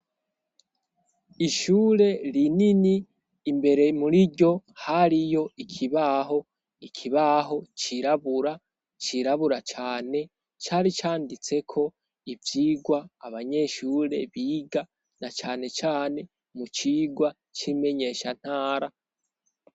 Ishure rinini imbere muri ryo hariyo ikibaho, ikibaho cirabura, cirabura cane, cari canditseko ivyigwa abanyeshure biga na canecane mu cigwa c'imenyeshantara.